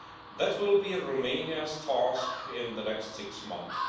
That will be Romania's task in the next six months.